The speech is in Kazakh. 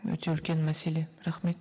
өте үлкен мәселе рахмет